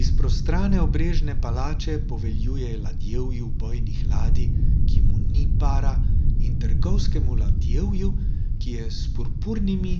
Iz prostrane obrežne palače poveljuje ladjevju bojnih ladij, ki mu ni para, in trgovskemu ladjevju, ki je s purpurnimi